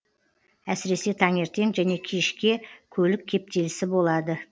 әсіресе таңертең және кешке көлік кептелісі болады